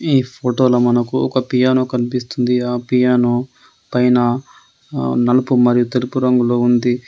ఈ ఫొటోలో మనకు ఒక పియానో కనిపిస్తుంది. ఆ పియానో పైన ఆహ్ నలుపు మరియు తెలుపు రంగులో ఉంది.